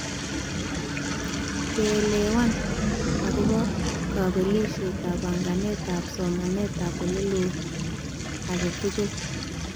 Keelewan ab kabelishetab banganetab somanetab oleloo aketugul